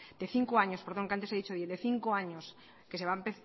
de cinco años perdón que antes he dicho diez de cinco años que se va a